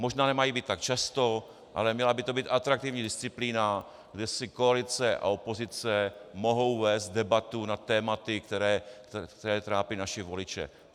Možná nemají být tak často, ale měla by to být atraktivní disciplína, kde si koalice a opozice mohou vést debatu nad tématy, která trápí naše voliče.